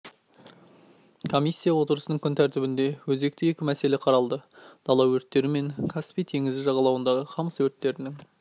комиссия отырысының күн тәртібінде өзекті екі мәселе қаралды дала өрттері мен каспий теңізі жағалауындағы қамыс өрттерінің